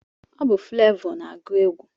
Ọ Fulavọ na-agụ egwu